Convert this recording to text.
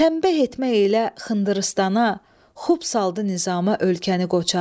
Tənbəh etmə elə xındır-üstana, xub saldı nizamə ölkəni qoçaq.